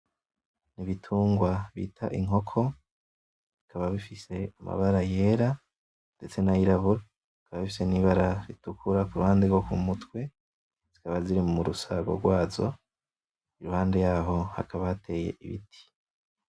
Ibitungwa bita inkoko, bikaba bifise amabara yera ndetse n’ayirabura, bikaba bifise n’ibara ritukura ku ruhande rwo ku mutwe zikaba ziri mu rusago rwazo, iruhande yaho hakaba hateye ibiti.